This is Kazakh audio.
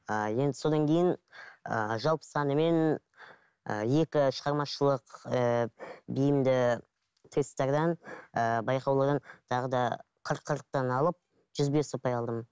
ііі енді содан кейін ііі жалпы санымен і екі шығармашылық ііі бейімді тесттерден ііі байқаулардан тағы да қырық қырықтан алып жүз бес ұпай алдым